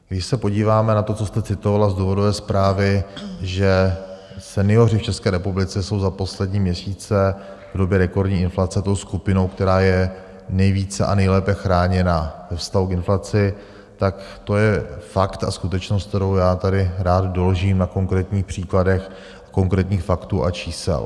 Když se podíváme na to, co jste citovala z důvodové zprávy, že senioři v České republice jsou za poslední měsíce v době rekordní inflace tou skupinou, která je nejvíce a nejlépe chráněna ve vztahu k inflaci, tak to je fakt a skutečnost, kterou já tady rád doložím na konkrétních příkladech konkrétních faktů a čísel.